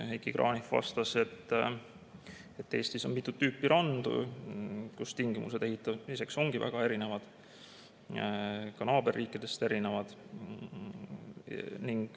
Heiki Kranich vastas, et Eestis on mitut tüüpi randu ja tingimused ehitamiseks ongi väga erinevad, ka naaberriikidest erinevad.